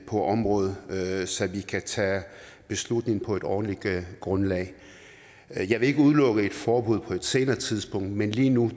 på området så vi kan tage beslutning på et ordentligt grundlag jeg vil ikke udelukke et forbud på et senere tidspunkt men lige nu